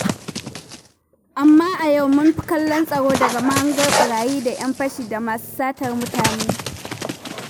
Amma a yau mun fi kallon tsaro daga mahangar ɓarayi da 'yan fashi da masu satar mutane.